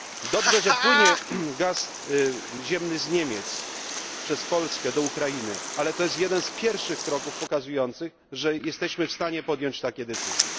Dobrze, że płynie gaz ziemny z Niemiec, przez Polskę do Ukrainy, ale to jest jeden z pierwszych kroków pokazujących, że jesteśmy w stanie podjąć takie decyzje.